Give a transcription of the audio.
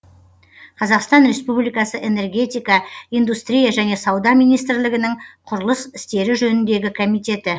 қазақстан республикасы энергетика индустрия және сауда министрлігінің құрылыс істері жөніндегі комитеті